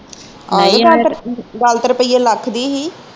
ਗੱਲ ਤੇ ਰੁਪਿਆ ਲੱਖ ਦੀ ਹੀ